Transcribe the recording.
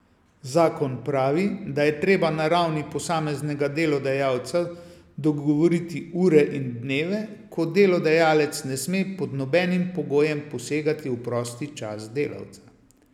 Zakon pravi, da je treba na ravni posameznega delodajalca dogovoriti ure in dneve, ko delodajalec ne sme pod nobenim pogojem posegati v prosti čas delavca.